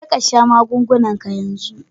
Jeka sha magungunanka yanzu!